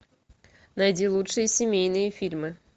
найди лучшие семейные фильмы